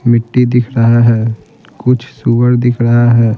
मिट्टी दिख रहा है कुछ सूर दिख रहा है।